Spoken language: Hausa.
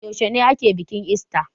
Yaushe ake bikin ista?